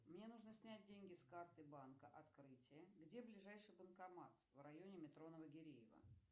мне нужно снять деньги с карты банка открытие где ближайший банкомат в районе метро новогиреево